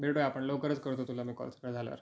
भेटूया आपण लवकरच करतो तुला मी कॉल सगळ झाल्या वर.